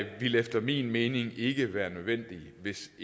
ville efter min mening ikke være nødvendigt hvis